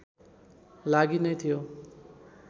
लागि नै थियो